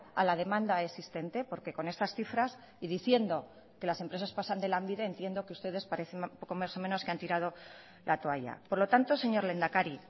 a la demanda existente porque con estas cifras y diciendo que las empresas pasan de lanbide entiendo que ustedes parecen poco más o menos que han tirado la toalla por lo tanto señor lehendakari